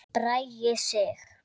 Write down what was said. Bragi Sig.